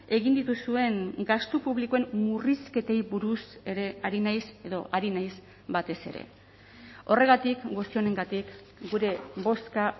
egin dituzuen gastu publikoen murrizketei buruz ere ari naiz edo ari naiz batez ere horregatik guzti honengatik gure bozka